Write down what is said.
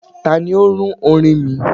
tani o run orin mi?